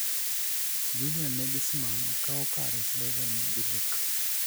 Julian Nagelsmann kawo kare Slaven Bilic